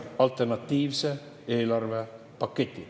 – alternatiivse eelarvepaketi.